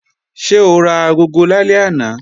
Ṣé o ra agogo lálẹ́ àná?